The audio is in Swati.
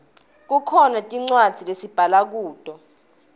kukhona tincwadzi lesibhala kuto